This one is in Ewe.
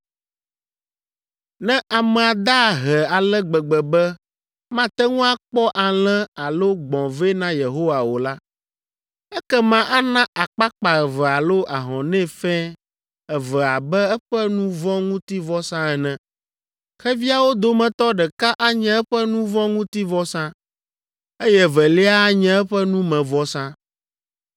“ ‘Ne amea da ahe ale gbegbe be mate ŋu akpɔ alẽ alo gbɔ̃ vɛ na Yehowa o la, ekema ana akpakpa eve alo ahɔnɛ fɛ̃ eve abe eƒe nu vɔ̃ ŋuti vɔsa ene. Xeviawo dometɔ ɖeka anye eƒe nu vɔ̃ ŋuti vɔsa, eye evelia anye eƒe numevɔsa.